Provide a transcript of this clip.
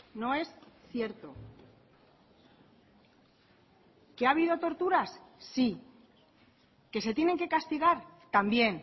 no es cierto que ha habido torturas sí que se tienen que castigar también